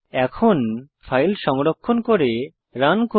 এখন ফাইল সংরক্ষণ করে রান করুন